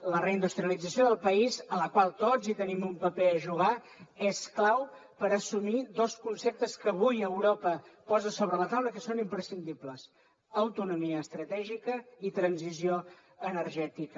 la reindustrialització del país en la qual tots hi tenim un paper a jugar és clau per assumir dos conceptes que avui europa posa sobre la taula i que són imprescindibles autonomia estratègica i transició energètica